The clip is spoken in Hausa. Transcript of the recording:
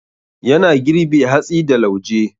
Yana girbe hatsi da lauje.